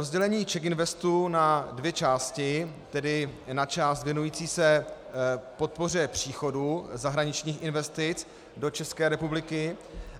Rozdělení CzechInvestu na dvě části, tedy na část věnující se podpoře příchodu zahraničních investic do České republiky